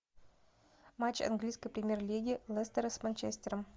матч английской премьер лиги лестера с манчестером